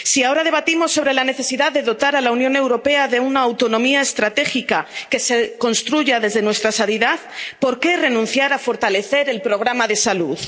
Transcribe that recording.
Si ahora debatimos sobre la necesidad de dotar a la Unión Europea de una autonomía estratégica que se construya desde nuestra sanidad, ¿por qué renunciar a fortalecer el programa de salud?